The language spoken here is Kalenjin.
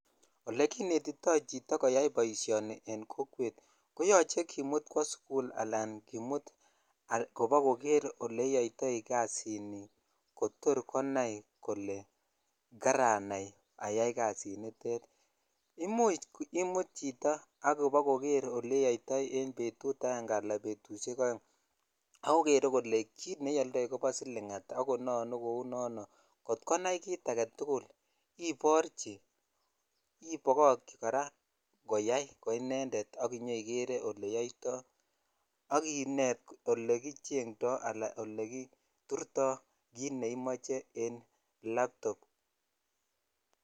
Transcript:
Olekinetitoi chito koyai boishoni en kokwet ko yoche kimut kwo sukul Al kobokoker ole iyoitoi kasini kotor konai kole karanai again kasini imuch imut chito kobokoker oleiyoitoi en betut ala betushek oeng kobokoker kole kii ioldoi kobo silk at ak kononu kou nono kot konai kit agetul ibokokchi kora ko inended ak inyokeree oleyoitoi ak inet ole kichetoi ala ole kiturtoi kit neimoche laptop .